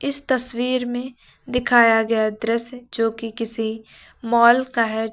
तस्वीर में दिखाया गया दृश्य जो कि किसी मॉल का है।